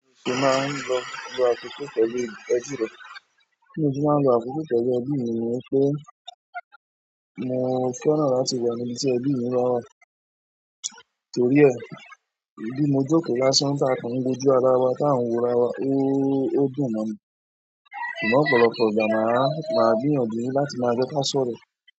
Ṣe máa ń lọ lo àkókò pẹ̀lú ẹbí rẹ. Bí mo ṣe máa ń lo àkókò pẹ̀lú ẹbí mi ni wípé mo fẹ́ràn láti wà níbi tí ẹbí mi bá wà. Torí ẹ̀, bí mo jókòó lásán tá a kà ń wojú ara wa tá a ń wo ara wa ó, ó dùn mọ́ mi. Ṣùgbọ́n ọ̀pọ̀lọpọ̀ ìgbà máa, máa gbìyànjú láti máa jẹ́ k'ọ́n sọ̀rọ̀.